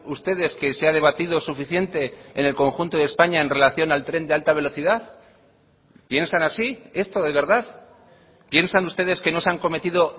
ustedes que se ha debatido suficiente en el conjunto de españa en relación al tren de alta velocidad piensan así esto de verdad piensan ustedes que no se han cometido